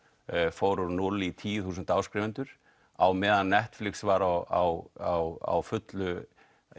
fór úr núll í tíu þúsund áskrifendur á meðan Netflix var á á fullu